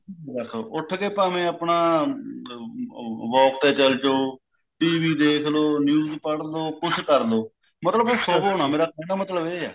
ਬਸ ਉੱਠ ਕੇ ਭਾਵੇਂ ਆਪਣਾ walk ਤੇ ਚੱਲ ਜੋ TV ਦੇਖ ਲੋ news ਪੜ੍ਹ ਲੋ ਕੁੱਛ ਕਰ ਲਓ ਮਤਲਬ ਸੋਵੋ ਨਾ ਮੇਰੇ ਕਹਿਣ ਦਾ ਮਤਲਬ ਇਹ ਹੈ